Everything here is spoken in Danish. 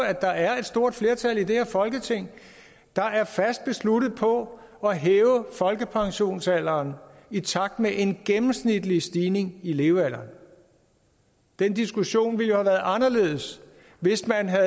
at der er et stort flertal i det her folketing der er fast besluttet på at hæve folkepensionsalderen i takt med en gennemsnitlig stigning i i levealderen den diskussion ville jo have været anderledes hvis man havde